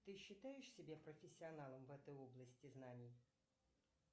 ты считаешь себя профессионалом в этой области знаний